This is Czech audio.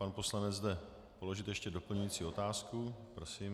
Pan poslanec jde položit ještě doplňující otázku, prosím.